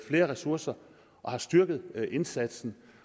flere ressourcer og har styrket indsatsen